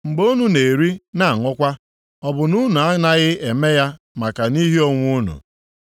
Mgbe unu na-eri na-aṅụkwa, ọ bụ na unu anaghị eme ya maka nʼihi onwe unu?